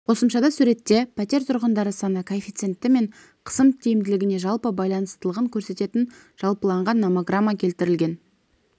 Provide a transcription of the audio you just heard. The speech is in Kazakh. қосымшада суретте пәтер тұрғындары саны коэффициенті мен қысым тиімділігіне жалпы байланыстылығын көрсететін жалпыланған номограмма келтірілген